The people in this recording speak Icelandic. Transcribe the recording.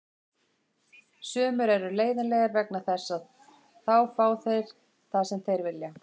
Sumir eru leiðinlegir vegna þess að þá fá þeir það sem þeir vilja.